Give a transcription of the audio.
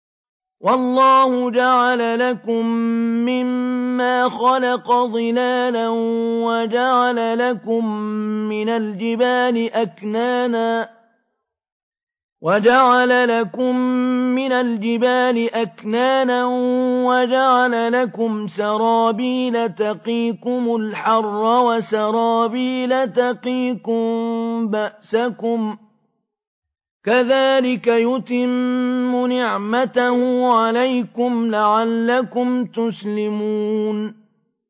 وَاللَّهُ جَعَلَ لَكُم مِّمَّا خَلَقَ ظِلَالًا وَجَعَلَ لَكُم مِّنَ الْجِبَالِ أَكْنَانًا وَجَعَلَ لَكُمْ سَرَابِيلَ تَقِيكُمُ الْحَرَّ وَسَرَابِيلَ تَقِيكُم بَأْسَكُمْ ۚ كَذَٰلِكَ يُتِمُّ نِعْمَتَهُ عَلَيْكُمْ لَعَلَّكُمْ تُسْلِمُونَ